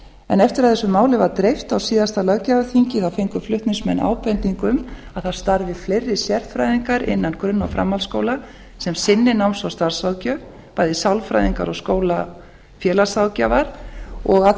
að þessu máli var dreift á síðasta löggjafarþingi fengu flutningsmenn ábendingu um að það starfi fleiri sérfræðingar innan grunn og framhaldsskóla sem sinni náms og starfsráðgjöf bæði sálfræðingar og skólafélagsráðgjafar og af